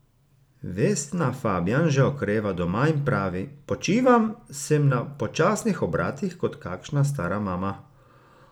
Vesna Fabjan že okreva doma in pravi: "Počivam, sem na počasnih obratih kot kakšna stara mama.